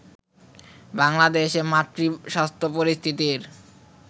বাংলাদেশে মাতৃস্বাস্থ্য পরিস্থিতির